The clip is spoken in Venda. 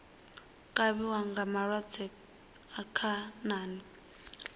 kavhiwa nga malwadze a khanani